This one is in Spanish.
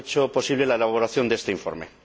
posible la elaboración de este informe.